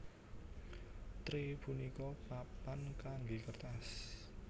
Tray punika papan kanggé kertas